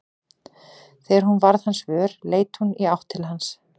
Þegar hún varð hans vör leit hún í átt til hans.